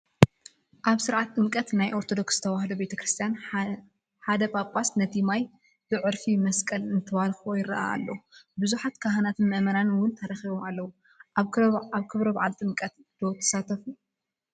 ኣብ ስርዓተ ጥምቀት ናይ ኦርቶዶክስ ተዋህዶ ቤተ ክርስትያን ሓደ ጳጳስ ነቲ ማይ ብዕርፈ መስቀል እንትባርኽዎ ይራኣዩ ኣለው፡፡ ብዙሓት ካህናትን ምአመናንን ውን ተረኺቦም ኣለው፡፡ ኣብ ክብረ በዓል ጥምቀት ዶ ትሳተፉ?